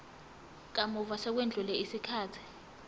kamuva sekwedlule isikhathi